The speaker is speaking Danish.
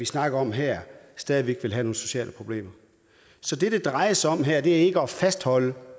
snakker om her stadig væk ville have nogle sociale problemer så det det drejer sig om her er ikke at fastholde